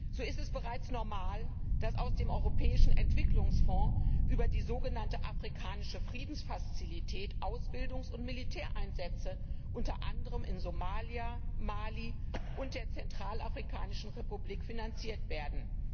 So ist es bereits normal, dass aus dem europäischen Entwicklungsfonds über die sogenannte afrikanische Friedenfazilität Ausbildungs und Militäreinsätze unter anderem in Somalia, Mali und der Zentralafrikanischen Republik finanziert werden.